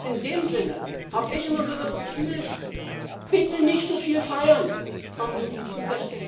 Und in dem Sinne habe ich immer das Gefühl Bitte nicht so viel feiern